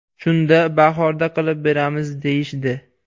Shunda bahorda qilib beramiz, deyishdi.